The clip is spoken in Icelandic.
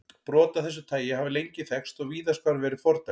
Brot af þessu tagi hafa lengi þekkst og víðast hvar verið fordæmd.